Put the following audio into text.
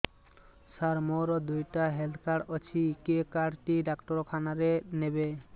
ସାର ମୋର ଦିଇଟା health card ଅଛି କେ କାର୍ଡ ଟି ଡାକ୍ତରଖାନା ରେ ନେବେ